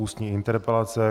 Ústní interpelace